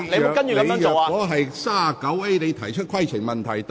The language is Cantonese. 我當時並未提出規程問題。